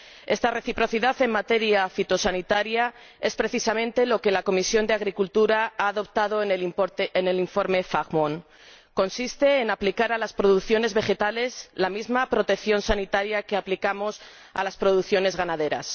Esta reciprocidad en materia fitosanitaria es precisamente lo que la Comisión de Agricultura ha adoptado en el informe Fajmon consiste en aplicar a las producciones vegetales la misma protección sanitaria que aplicamos a las producciones ganaderas.